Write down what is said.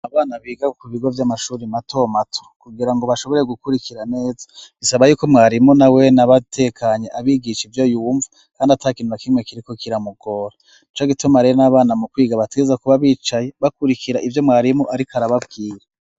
Abana biga mu bigo vy'amashuri mato mato kugira ngo bashobore gukurikira neza ,bisaba yuko mwarimu nawene aba atekanye, abigisha ivyo yumva kandi ata kintu na kimwe kiriko kiramugora ,nicogituma rero n'abana mu kwiga baterezwa kuba bicaye bakurikira ivyo mwarimu ariko arababwiye.